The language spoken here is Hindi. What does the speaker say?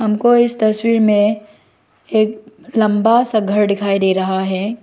हम को इस तस्वीर में एक लंबा सा घर दिखाई दे रहा है।